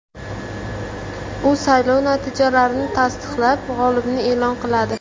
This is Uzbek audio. U saylov natijalarini tasdiqlab, g‘olibni e’lon qiladi.